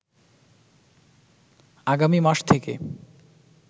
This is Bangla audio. আগামী মাস থেকে